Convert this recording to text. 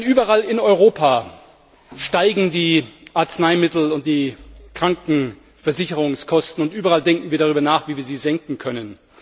Überall in Europa steigen die Arzneimittel und die Krankenversicherungskosten und überall denken wir darüber nach, wie wir sie senken können.